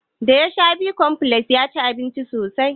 Da ya sha bicomplex ya ci abinci sosai.